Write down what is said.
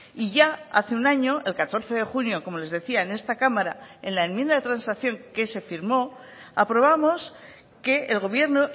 y ya hace un año el catorce de junio como les decía en esta cámara en la enmienda de transacción que se firmó aprobamos que el gobierno